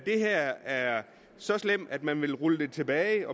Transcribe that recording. her er så slemt at man vil rulle det tilbage